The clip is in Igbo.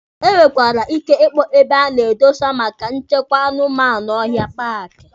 E nwekwara ike ịkpọ ebe a na-edosa maka ịchekwa anụmanụ ọhịa paaki.